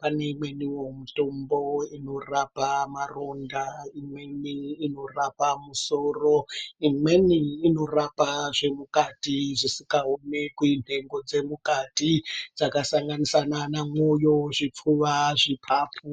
pane imweniwo mitombo inorapa maronda, imweni inorapa musoro imweni inorapa zvemukati zvisikaonekwi nhengo dzemukati dzinosanganisira nana mwoyo ,zveipfuwa zvipapu.